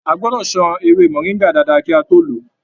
A gbọdọ sàn ewé moringa dáadáa kí a tó lọ.